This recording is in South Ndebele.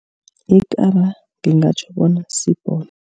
Ikaba ngingatjho bona sibhono.